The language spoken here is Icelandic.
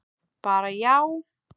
Bara já?